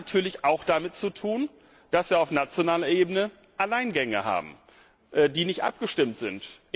Das hat natürlich auch damit zu tun, dass wir auf nationaler Ebene Alleingänge haben, die nicht abgestimmt sind.